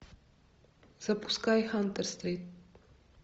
запускай хантер стрит